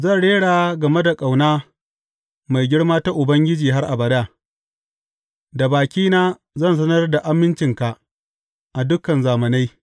Zan rera game da ƙauna mai girma ta Ubangiji har abada; da bakina zan sanar da amincinka a dukan zamanai.